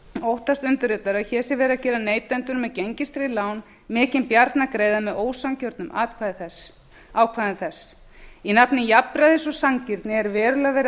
óttast undirritaður að hér sé verið að gera neytendum með gengistryggð lán mikinn bjarnargreiða með ósanngjörnum ákvæðum þess í nafni jafnræðis og sanngirni er verulega verið að